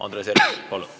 Andres Herkel, palun!